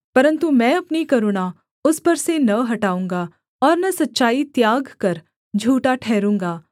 परन्तु मैं अपनी करुणा उस पर से न हटाऊँगा और न सच्चाई त्याग कर झूठा ठहरूँगा